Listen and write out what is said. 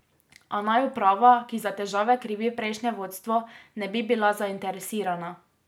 A naj uprava, ki za težave krivi prejšnje vodstvo, ne bi bila zainteresirana.